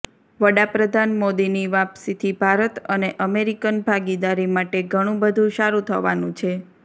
વડાપ્રધાન મોદીની વાપસીથી ભારત અને અમેરિકન ભાગીદારી માટે ઘણું બધું સારું થવાનું છે